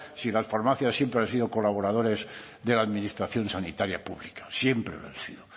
si las farmacias siempre han sido colaboradores de la administración sanitaria pública siempre lo han sido